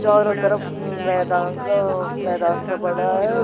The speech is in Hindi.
चारो तरफ उम्म मैदान घांस मैदान का बना है।